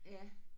Ja